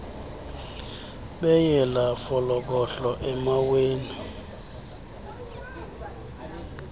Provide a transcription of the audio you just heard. beyela folokohlo emaweni